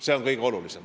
See on kõige olulisem.